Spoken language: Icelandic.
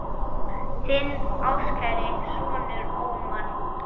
Þinn ástkæri sonur, Ómar.